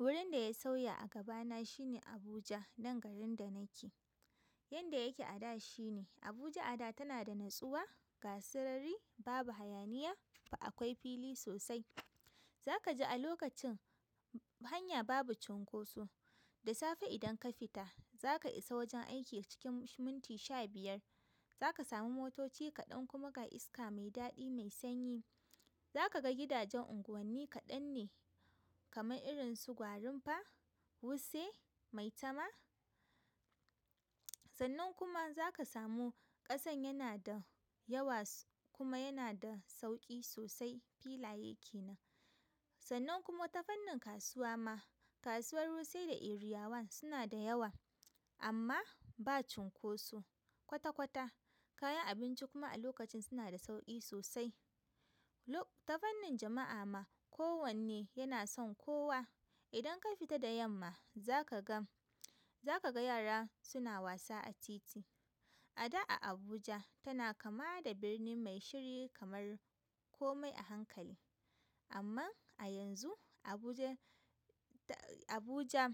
Gurin da ya sauya a gabana shine Abuja, nan garin da nake. Yanda yake a da shine. Abuja a da tana da natsuwa, ga sarari, babu hayaniya, ga akwai fili sosai. Za ka ji a lokacin hanya babu cinkoso. Da safe idan ka fita, za ka isa wajen aiki cikin minti sha biyar. Za ka samu motoci kaɗan kuma ga iska mai daɗi mai sanyi. Za ka ga gidajen unguwanni kaɗan ne kamar irin su Gwarinpa, Wuse, Maitama. Sannan kuma za ka samu ƙasan yana da yawa kuma yana da sauƙi sosai filaye ke nan. Sannan kuma ta fannin kasuwa ma, kasuwar Wuse da Area one suna da yawa amma ba cinkoso kwata-kwata. Kayan abinci kuma a lokacin suna da sauƙi sosai. Ta fannin jama'a ma, ko wanne yana son kowa. Idan ka fita da yamma, za ka gan--za ka ga yara suna wasa a titi. A da a Abuja tana kama da birni mai shiri kamar komai a hankali. Amman a yanzu, Abuja--Abuja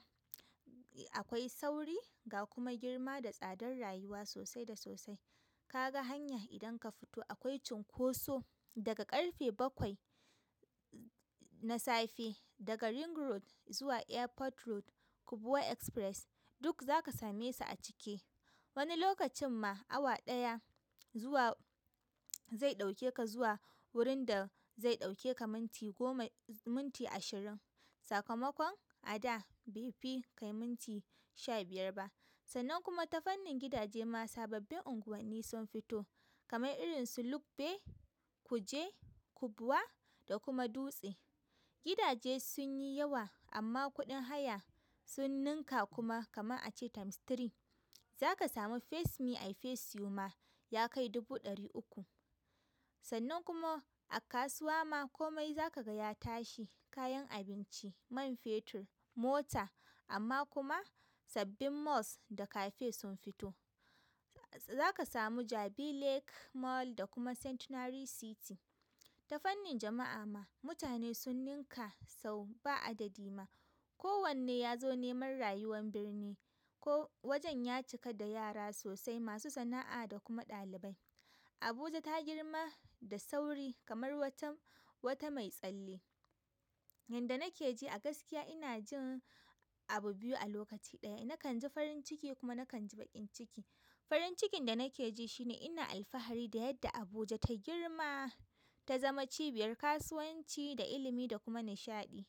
akwai sauri ga kuma girma da tsadar rayuwa sosai da sosai. Kaga hanya idan ka fito, akwai cinkosa daga ƙarfe bakwai na safe daga Ring road zuwa Airport road, Kubwa express, duk zaka same su a ciki. Wani lokacin ma awa ɗaya zuwa zai ɗauke ka zuwa wurin da zai ɗauke ka minti goma, minti ashirin. Sakamakon a da bai fi ka yi minti sha biyar ba. Sannan kuma ta fannin gidaje ma sababbin unguwanni sun fito kamar irin su Lugbe, Kuje, Kubwa da kuma dutse. Gidaje sun yi yawa amma kuɗin haya sun ninka kuma kaman a ce times three. Za ka samu face me, i face you ma ya kai dubu ɗari uku. Sannan kuma a kasuwa ma komai za ka gaya tashi, kayan abinci, man fetur, mota amma kuma sabbin malls da cafe sun fito. Za ka samu Jabi Lake Mall da kuma Centinary City. Ta fannin jama'a ma mutane sun ninka sau ba adadi ma. Ko wanne ya zo neman rayuwan birni. Ko wajen ya cika da yara sosai, masu sana'a da kuma ɗalibai Abuja ta girma da sauri kamar watan--wata mai tsalle. Yanda nake ji a gaskiya ina jin abu biyu a lokaci ɗaya. Nakan ji farin ciki kuma nakan ji baƙin ciki. Farin cikin da nake ji shine ina alfahari da yadda Abuja ta girma, ta zama cibiyar kasuwanci da ilimi da kuma nishaɗi.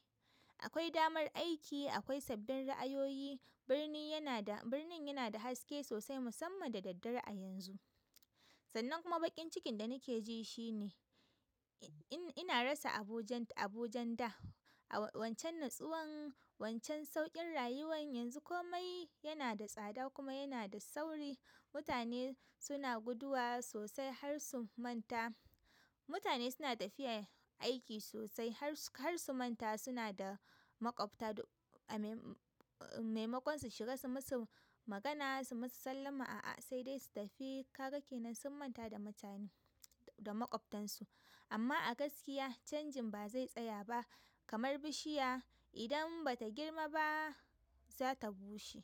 Akwai damar aiki, akwai sabbin ra'ayoyi, birni yana da, birnin yana da haske sosai musamman da daddare a yanzu. Sannan kuma baƙin cikin da nake ji shine in. Ina rasa Abuja'n--Abuja'n da, a wancan natsuwan, wancan sauƙin rayuwan. Yanzu komai yana da tsada kuma yana da sauri. Mutane suna guduwa sosai har su manta. Mutane suna tafiya aiki sosai har su--har su manta suna da maƙwabta. Da--a mai maimakon su shiga su musu magana, su musu sallama, a'a sai dai su tafi. Kaga kenan sun manta da mutane, da maƙwabtan su. Amma a gaskiya canjin ba zai tsaya ba kamar bishiya idan bata girma ba za ta bushe.